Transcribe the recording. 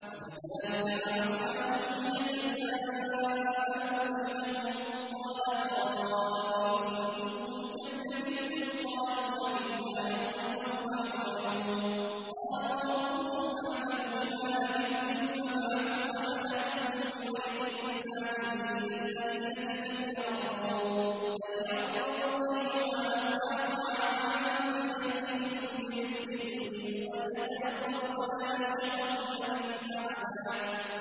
وَكَذَٰلِكَ بَعَثْنَاهُمْ لِيَتَسَاءَلُوا بَيْنَهُمْ ۚ قَالَ قَائِلٌ مِّنْهُمْ كَمْ لَبِثْتُمْ ۖ قَالُوا لَبِثْنَا يَوْمًا أَوْ بَعْضَ يَوْمٍ ۚ قَالُوا رَبُّكُمْ أَعْلَمُ بِمَا لَبِثْتُمْ فَابْعَثُوا أَحَدَكُم بِوَرِقِكُمْ هَٰذِهِ إِلَى الْمَدِينَةِ فَلْيَنظُرْ أَيُّهَا أَزْكَىٰ طَعَامًا فَلْيَأْتِكُم بِرِزْقٍ مِّنْهُ وَلْيَتَلَطَّفْ وَلَا يُشْعِرَنَّ بِكُمْ أَحَدًا